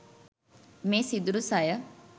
මේ සිදුරු සය